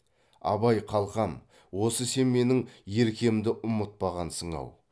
абай қалқам осы сен менің еркемді ұмытпағансың ау